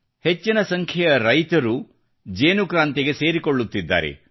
ಹೆಚ್ಚಿನ ಸಂಖ್ಯೆಯ ರೈತರು ಇದಕ್ಕೆ ಸೇರಿಕೊಳ್ಳುತ್ತಿದ್ದಾರೆ